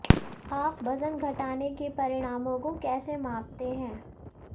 आप वजन घटाने के परिणामों को कैसे मापते हैं